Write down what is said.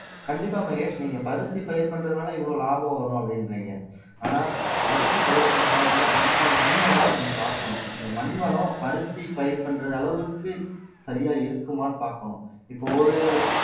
கண்டிப்பா மகேஷ் நீங்க பருத்தி பயிர் பண்றதுனால இவ்வளவு லாபம் வரும் அப்படின்றீங்க ஆனா பருத்தி பயிர் பண்றதுனால என்ன அதுக்கான மண் வளத்தை நம்ம பாக்கணும் அந்த மண் வளம் பருத்தி பயிர் பண்றது அளவுக்கு சரியா இருக்குமான்னு பாக்கணும் இப்ப ஒரு